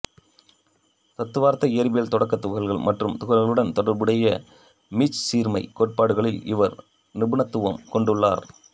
தத்துவார்த்த இயற்பியல் தொடக்கத் துகள்கள் மற்றும் துகள்களுடன் தொடர்புடைய மீச்சீர்மை கோட்பாடுகளில் இவர் நிபுணத்துவம் கொண்டுள்ளார்